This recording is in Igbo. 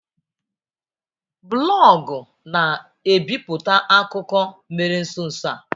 Blọọgụ na bipụta akụkọ mere nso nso a.